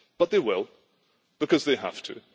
but they will because they have to.